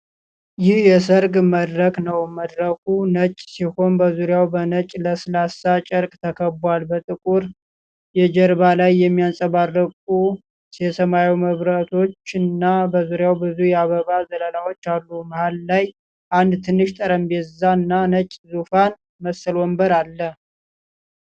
ይህ የሠርግ መድረክ ነው። መድረኩ ነጭ ሲሆን በዙሪያው በነጭ ለስላሳ ጨርቅ ተከቧል። በጥቁር የጀርባ ላይ የሚያንጸባርቁ የሰማያዊ መብራቶችና በዙሪያው ብዙ የአበባ ዘለላዎች አሉ። መሃል ላይ አንድ ትንሽ ጠረጴዛና ነጭ ዙፋን መሰል ወንበር አለ።